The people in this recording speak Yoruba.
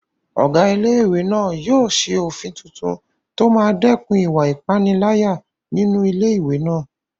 Ọ̀gá ilé-ìwé náà yóò ṣe òfin tuntun tó máa dẹ́kun ìwà ìpániláyà nínú ilé-ìwé náà